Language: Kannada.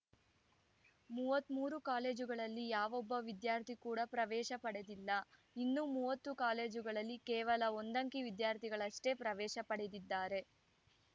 ಮೂವತ್ತ್ ಮೂರು ಕಾಲೇಜುಗಳಲ್ಲಿ ಯಾವೊಬ್ಬ ವಿದ್ಯಾರ್ಥಿ ಕೂಡ ಪ್ರವೇಶ ಪಡೆದಿಲ್ಲ ಇನ್ನು ಮೂವತ್ತು ಕಾಲೇಜುಗಳಲ್ಲಿ ಕೇವಲ ಒಂದಂಕಿ ವಿದ್ಯಾರ್ಥಿಗಳಷ್ಟೇ ಪ್ರವೇಶ ಪಡೆದಿದ್ದಾರೆ